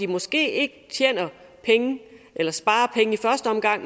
måske ikke penge